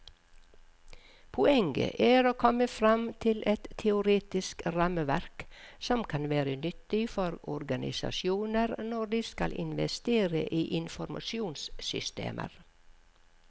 Poenget er å komme frem til et teoretisk rammeverk som kan være nyttig for organisasjoner når de skal investere i informasjonssystemer.